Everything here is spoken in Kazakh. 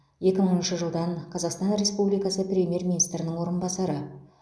екі мыңыншы жылдан қазақстан республикасы премьер министрінің орынбасары